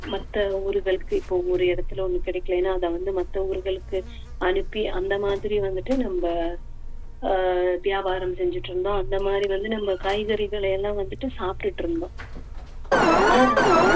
மத்த ஊர்களுக்கு இப்போ ஒரு இடத்துல ஒண்ணு கிடைக்கலைனா அத வந்து மத்த ஊர்களுக்கு அனுப்பி அந்த மாதிரி வந்துட்டு நம்ம ஆஹ் வியாபாரம் செஞ்சுட்டு இருந்தோம் அந்த மாதிரி வந்து நம்ம காய்கறிகளை எல்லாம் வந்துட்டு சாப்பிட்டுட்டு இருந்தோம் ஆனா